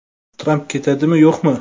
Tramp ketadimi, yo‘qmi?